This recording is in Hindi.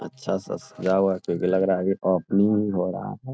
अच्छा सा सजा हुआ है जैसे लग रहा है की ओपनिंग ही हो रहा है।